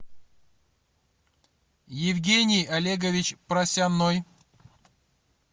евгений олегович просяной